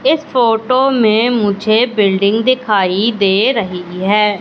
इस फोटो में मुझे बिल्डिंग दिखाई दे रही है।